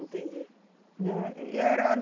Entendi. Né, e era